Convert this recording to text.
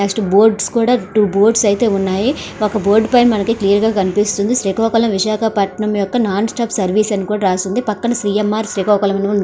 Next boards కూడా two boards అయితే ఉన్నాయి. ఒక బోర్డ్ పైన మనకి క్లియర్ గా కనిపిస్తుంది శ్రీకాకుళం విశాఖపట్నం యొక్క నాన్ స్టాప్ సర్వీస్ అని రాసి ఉంది పక్కన సిఎంఆర్ శ్రీకాకుళం --